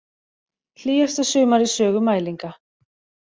Hlýjasta sumar í sögu mælinga